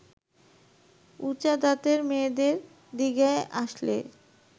উঁচা দাঁতের মেয়েদের দিকে আসলে